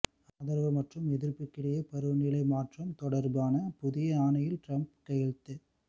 ஆதரவு மற்றும் எதிர்ப்புக்கிடையே பருவநிலை மாற்றம் தொடர்பான புதிய ஆணையில் டிரம்ப் கையெழுத்து